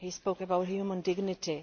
He spoke about human dignity.